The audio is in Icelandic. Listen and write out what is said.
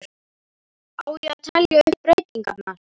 Á ég að telja upp breytingarnar?